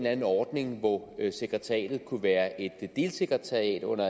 anden ordning hvor sekretariatet kunne være et delsekretariat under